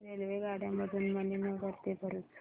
रेल्वेगाड्यां मधून मणीनगर ते भरुच